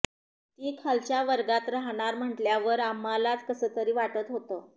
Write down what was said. ती खालच्या वर्गात राहणार म्हटल्यावर आम्हालाच कसं तरी वाटत होतं